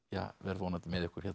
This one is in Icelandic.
verð vonandi með ykkur hérna